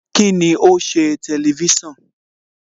Kíni o ṣe Tẹlifísàn?